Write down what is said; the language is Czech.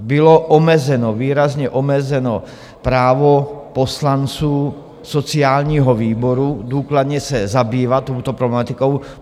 Bylo výrazně omezeno právo poslanců sociálního výboru důkladně se zabývat touto problematikou.